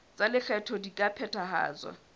tsa lekgetho di ka phethahatswa